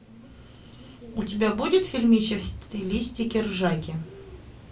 у тебя будет фильмище в стилистике ржаки